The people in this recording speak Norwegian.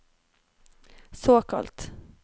såkalt